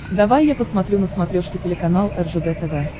давай я посмотрю на смотрешке телеканал ржд тв